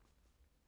DR2